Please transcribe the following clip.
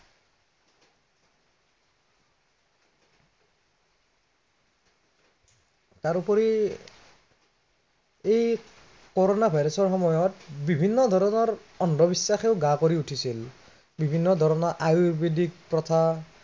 তাৰোপৰি এই, corona virus ৰ সময়ত বিভিন্ন ধৰণৰ অন্ধবিশ্বাসেও গা কৰি উঠিছিল। বিভিন্ন ধৰণৰ আয়ুৰ্বেদিক প্ৰথা